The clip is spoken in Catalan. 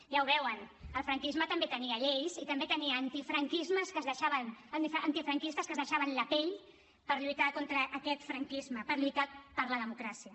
ja ho veuen el franquisme també tenia lleis i també tenia antifranquistes que es deixaven la pell per lluitar contra aquest franquisme per lluitar per la democràcia